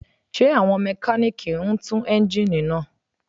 Ṣé àwọn Mẹkáníìkì ń tú eńjíìnì ni?